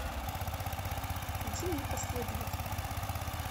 включи мне последователи